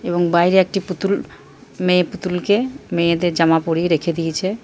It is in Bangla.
এবং বাইরে একটি পুতুল মেয়ে পুতুলকে মেয়েদের জামা পরিয়ে রেখে দিয়েছে ।